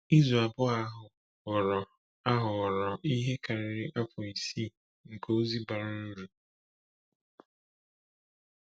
Izu abụọ ahụ ghọrọ ahụ ghọrọ ihe karịrị afọ isii nke ozi bara uru.